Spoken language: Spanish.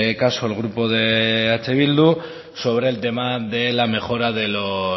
caso el grupo de eh bildu sobre el tema de la mejora de los